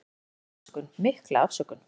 En hann hefur afsökun, mikla afsökun.